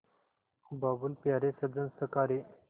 बाबुल प्यारे सजन सखा रे